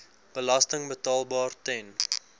belasting betaalbaar ten